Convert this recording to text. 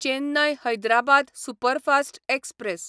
Chennai Hyderabad superfast express